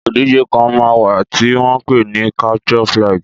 Ìdíje kan máa wà tí wọ́n ń pè ní capture flag.